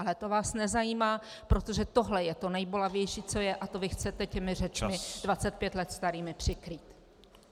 Ale to vás nezajímá, protože tohle je to nejbolavější, co je, a to vy chcete těmi řečmi 25 let starými přikrýt.